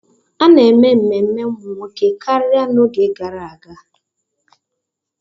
A na-eme ememe ụmụ nwoke karịa n'oge gara aga.